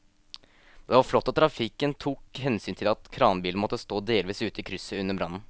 Det var flott at trafikken tok hensyn til at kranbilen måtte stå delvis ute i krysset under brannen.